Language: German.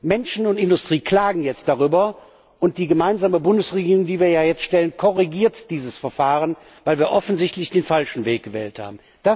Menschen und Industrie klagen jetzt darüber, und die gemeinsame Bundesregierung, die wie ja jetzt stellen, korrigiert dieses Verfahren, weil wir offensichtlich den falschen Weg gewählt haben.